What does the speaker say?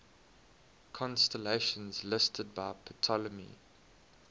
constellations listed by ptolemy